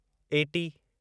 eighty